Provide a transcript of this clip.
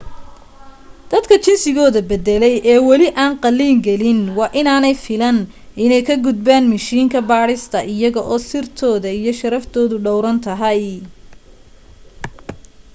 dadka jinsigooda baddalay ee wali aan qalliin gelin waa inaanay filan inay ka gudbaan mishiinka baadhista iyaga oo sirtooda iyo sharaftoodu dhowran tahay